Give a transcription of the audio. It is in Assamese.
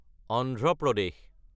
আন্ধ্ৰা প্ৰদেশ